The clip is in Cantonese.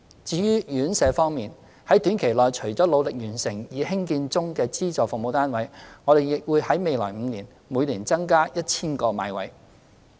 至於院舍服務，在短期內除努力完成興建中的資助服務單位外，我們亦會在未來5年，每年增加 1,000 個買位。